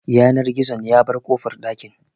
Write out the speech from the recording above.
Yanar gizon ya bar kofar ɗakin